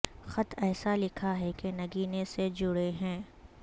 خط ایسا لکھا ہے کہ نگینے سے جڑے ہیں